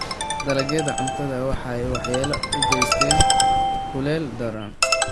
Dalagyada cuntada waxaa waxyeello u geysta kulayl daran.